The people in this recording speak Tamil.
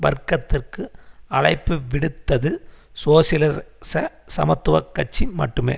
வர்க்கத்திற்கு அழைப்பு விடுத்தது சோசியலிச சமத்துவ கட்சி மட்டுமே